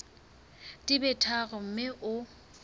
di be tharo mme o